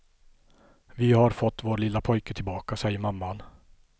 Vi har fått vår lilla pojke tillbaka, säger mamman.